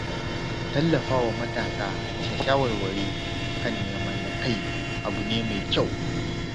Tallafa wa matasa da shawarwari kan neman na-kai abu ne mai kyau.